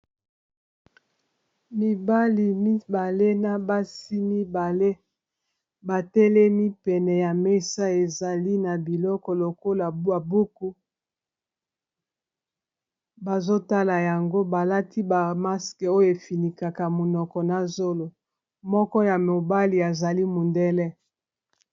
Mibali mibale na basi mibale batelemi pene ya mesa, ezali na biloko lokola buku bazotala yango balati ba maske oyo efinikaka monoko na zolo moko ya mibali azali mondele.